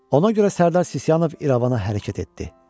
Ona görə Sərdar Sisyanov İrəvana hərəkət etdi.